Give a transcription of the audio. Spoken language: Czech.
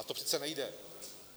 A to přece nejde!